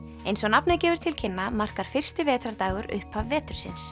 eins og nafnið gefur til kynna markar fyrsti vetrardagur upphaf vetursins